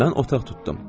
Mən otaq tutdum.